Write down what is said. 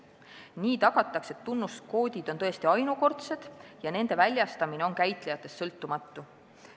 Nii tagatakse, et tunnuskoodid on tõesti ainukordsed ja nende väljastamine on käitlejatest sõltumatu.